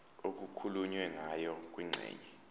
okukhulunywe ngayo kwingxenye